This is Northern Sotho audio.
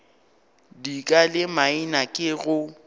dika le maina ke go